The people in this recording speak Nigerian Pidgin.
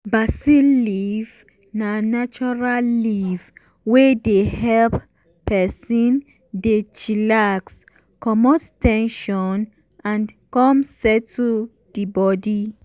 basil leaf na natural leaf wey dey help person dey chillax comot ten sion and come settle the body.